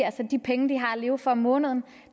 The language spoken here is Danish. de penge de har at leve for om måneden